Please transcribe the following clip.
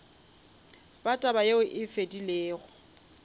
ba taba yeo e fedilego